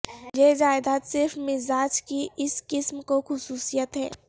یہ جائیداد صرف مزاج کی اس قسم کو خصوصیت ہے